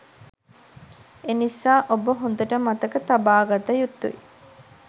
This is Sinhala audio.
එනිසා ඔබ හොඳට මතක තබාගත යුතුයි